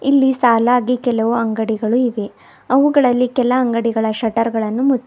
ಇಲ್ಲಿ ಸಾಲಾಗಿ ಕೆಲುವು ಅಂಗಡಿಗಳು ಇವೆ ಅವುಗಳಲ್ಲಿ ಕೆಲ ಅಂಗಡಿಗಳ ಶಟ್ಟರ್ ಗಳನ್ನು ಮುಚ್ಚಲ್ಪ--